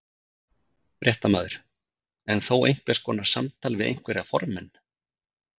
Fréttamaður: En þó einhvers konar samtal við einhverja formenn?